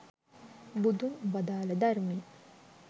බුදුන් වදාල ධර්මය